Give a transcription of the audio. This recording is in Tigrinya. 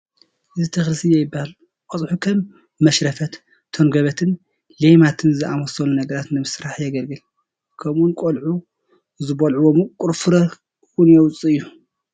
እዚ ተኽሊ ስየ ይበሃል፡፡ ቆፅሑ ከም መሽረፈት፣ ተንኮበትን ሌማትን ዝኣምሰሉ ነገራት ንምስራሕ የግልግል፡፡ ከምኡውን ቆልዑ ዝበልዑዎ ምቑር ፍረ እውን የውፅእ እዩ፡፡